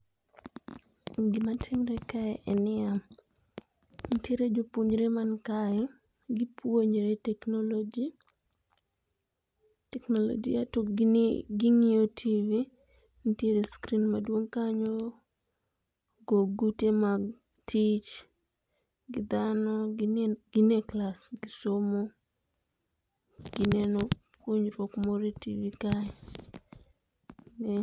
Gima timre kae en nia, nitiere jopuonjre man kae gi puonjre technology, teknolojia to gini, ging'iyo tv nitiere screen maduong' kanyo go gute mag tich' gi dhano' gine gine [csclass gi somo gi neno puonjruok moro e tv kae.